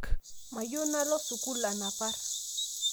Mayieu nalo sukul anapar